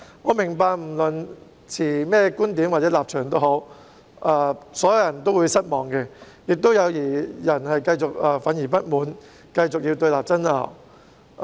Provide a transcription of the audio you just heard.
我明白不論是持甚麼觀點或立場的人都會感到失望，亦有些人仍然憤慨不滿，要繼續對立爭拗。